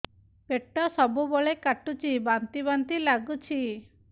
ପେଟ ସବୁବେଳେ କାଟୁଚି ବାନ୍ତି ବାନ୍ତି ବି ଲାଗୁଛି